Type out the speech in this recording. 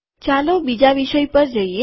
ચાલો બીજા વિષય પર જઈએ